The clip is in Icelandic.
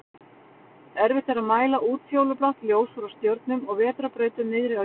Erfitt er að mæla útfjólublátt ljós frá stjörnum og vetrarbrautum niðri á jörðinni.